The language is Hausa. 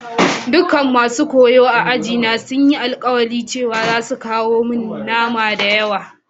Dukan masun koyo a'aji na sun yi alkawali cewa zasu kawo mun nama da yawa.